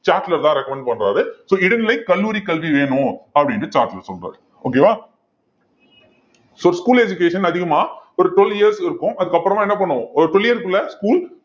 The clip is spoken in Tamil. சாட்லர் தான் recommend பண்றாரு so இடைநிலை கல்லூரி கல்வி வேணும் அப்படின்னு சாட்லர் சொல்றாரு okay வா so school education அதிகமா ஒரு twelve years க்கு இருக்கும் அதுக்கு அப்புறமா என்ன பண்ணுவோம் ஒரு twelve year க்குள்ள school